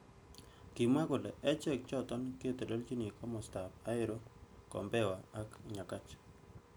Kimwa kole kechek chotok koteleljin kimosta ab Ahero, Kombewa ak Nyakach.